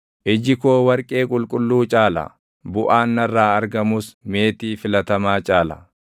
Iji koo warqee qulqulluu caala; buʼaan narraa argamus meetii filatamaa caala.